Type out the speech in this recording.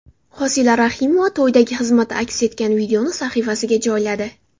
Hosila Rahimova to‘ydagi xizmati aks etgan videoni sahifasiga joyladi.